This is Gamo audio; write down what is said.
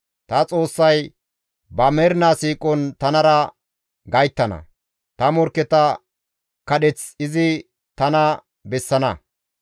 Ta Xoossay ba mernaa siiqon tanara gayttana; ta morkketa kundeth izi tana bessana.